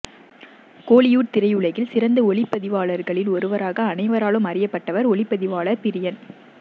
கோலிவுட் திரையுலகில் சிறந்த ஒளிப்பதிவாளர்களில் ஒருவராக அனைவராலும் அறியப்பட்டவர் ஒளிப்பதிவாளர் பிரியன்